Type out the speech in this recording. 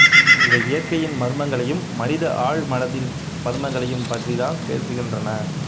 இவை இயற்கையின் மர்மங்கலையும் மனித ஆழ்மனத்தின் மர்மங்களையும் பற்றித்தான் பேசுகின்றன